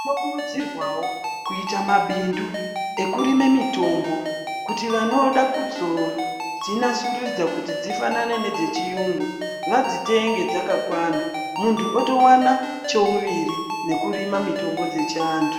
Tino. kurudzirwawo kuita mabindu ekurime mitombo kuti vanoda kuzodzinasurudza kuti dzifanane nedzechiyungu vadzitenge dzakakwana muntu oto wana chovuviri nekurima mitombo dzechiantu.